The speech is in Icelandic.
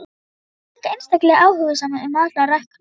Hann var líka einstaklega áhugasamur um alla ræktun.